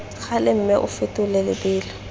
gale mme o fetole lebelo